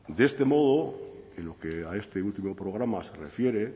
de este modo en lo que a este último programa se refiere